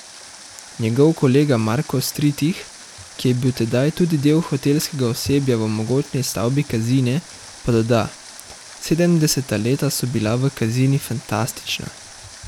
Njegov kolega Marko Stritih, ki je bil tedaj tudi del hotelskega osebja v mogočni stavbi Kazine, pa doda: 'Sedemdeseta leta so bila v Kazini fantastična.